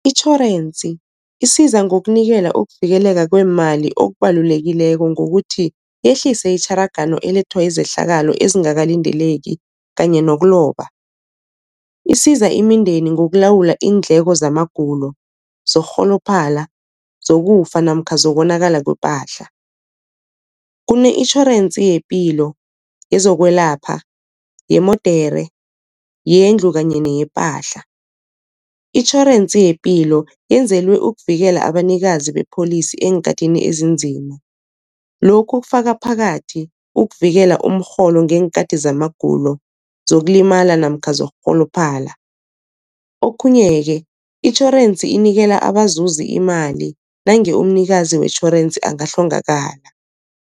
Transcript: Itjhorensi isiza ngokunikela ukuvikeleka kweemali okubalulekileko ngokuthi yehlise itjharagano elethwa zizehlakalo ezingakalindeleki kanye nokuloba. Isiza imindeni ngokulawula iindleko zamagulo, zokurholophala, zokufa namkha zokonakala kwepahla. Kune-intjhorensi yepilo, yezokwelapha, yemodere, yendlu kanye neyepahla. Itjhorensi yepilo yenzelwe ukuvikela abanikazi bepholisi eenkhatini ezinzima, lokhu kufaka phakathi ukuvikela umrholo ngeenkhati zamagulo, zokulimala namkha zokurholophala. Okhunye-ke itjhorensi inikela abazuzi imali nange umnikazi wetjhorensi angahlongakala.